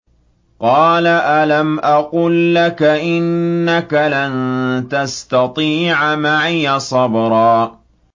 ۞ قَالَ أَلَمْ أَقُل لَّكَ إِنَّكَ لَن تَسْتَطِيعَ مَعِيَ صَبْرًا